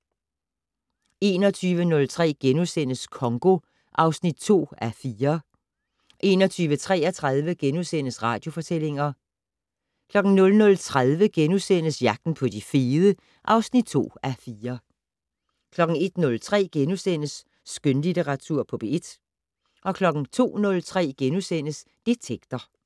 21:03: Congo (2:4)* 21:33: Radiofortællinger * 00:30: Jagten på de fede (2:4)* 01:03: Skønlitteratur på P1 * 02:03: Detektor *